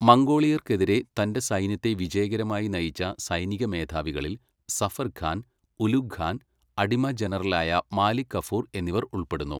മംഗോളിയർക്കെതിരെ തന്റെ സൈന്യത്തെ വിജയകരമായി നയിച്ച സൈനിക മേധാവികളിൽ സഫർ ഖാൻ, ഉലുഗ് ഖാൻ, അടിമ ജനറലായ മാലിക് കഫൂർ എന്നിവർ ഉൾപ്പെടുന്നു.